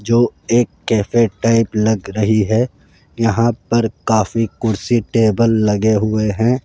जो एक cafe type लग रही है यहां पर काफी कुर्सी टेबल लगे हुए हैं।